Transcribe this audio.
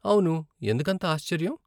అవును, ఎందుకంత ఆశ్చర్యం?